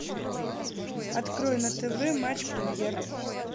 открой на тв матч премьер